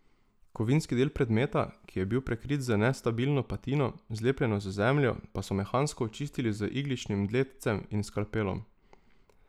Kovinski del predmeta, ki je bil prekrit z nestabilno patino, zlepljeno z zemljo, pa so mehansko očistili z igličnim dletcem in skalpelom.